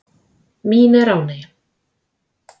Mín er ánægjan.